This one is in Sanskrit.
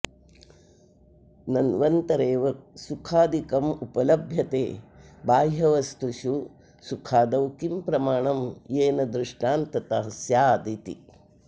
नन्वन्तरेव सुखादिकमुपलभ्यते बाह्यवस्तुषु सुखादौ किं प्रमाणं येन दृष्टान्तता स्यादिति